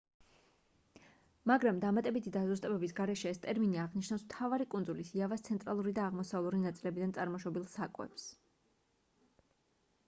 მაგრამ დამატებითი დაზუსტებების გარეშე ეს ტერმინი აღნიშნავს მთავარი კუნძული იავას ცენტრალური და აღმოსავლური ნაწილებიდან წარმოშობილ საკვებს